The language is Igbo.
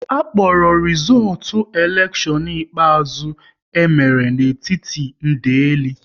A kpọrọ rizootu elekshion ikpeazụ e mere n'etiti ndeli